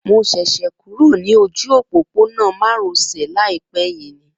Mo ṣẹ̀ṣẹ̀ kúrò ní ojú òpópónà má ro sè láìpé yìí ni